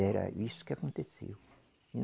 Era isso que aconteceu.